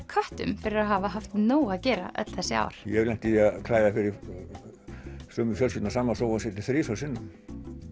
köttum fyrir að hafa haft nóg að gera öll þessi ár ég hef lent í því að klæða fyrir sömu fjölskylduna sama sófasettið þrisvar sinnum